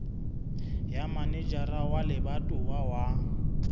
ya manejara wa lebatowa wa